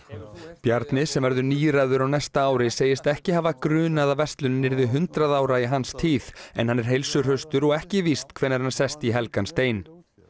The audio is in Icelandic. Bjarni sem verður níræður á næsta ári segist ekki hafa grunað að verslunin yrði hundrað ára í hans tíð en hann er heilsuhraustur og ekki víst hvenær hann sest í helgan stein